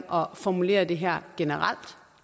om at formulere det her generelt